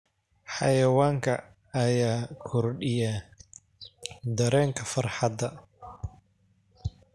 Xayawaanka ayaa kordhiya dareenka farxadda.